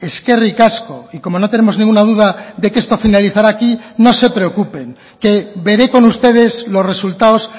eskerrik asko y como no tenemos ninguna duda de que esto finalizará aquí no se preocupen que veré con ustedes los resultados